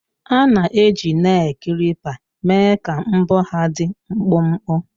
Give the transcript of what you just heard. A na-eji Nel klipa mee ka mbọ ha dị mkpụmkpụ